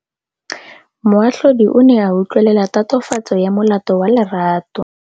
Moatlhodi o ne a utlwelela tatofatsô ya molato wa Lerato.